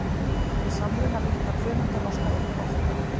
Við samruna léttra frumeinda losnar einnig orka.